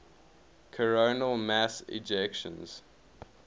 coronal mass ejections